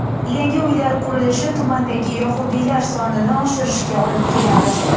Yangi uylar qurilishi tumandagi yahudiylar sonining oshishiga olib keladi.